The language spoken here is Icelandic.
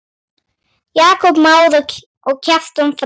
Jakob Már og Kjartan Freyr.